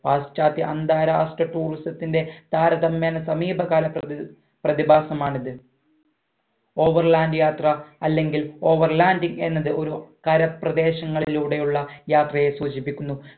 പാശ്ചാത്യ അന്താരാഷ്ട്ര tourism ത്തിന്റെ താരതമ്യേന സമീപകാല പ്രതി പ്രതിഭാസമാണിത് over land യാത്ര അല്ലെങ്കിൽ overlanding എന്നത് ഒരു കരപ്രദേശങ്ങളിലൂടെയുള്ള യാത്രയെ സൂചിപ്പിക്കുന്നു